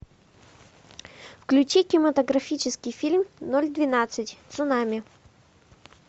включи кинематографический фильм ноль двенадцать цунами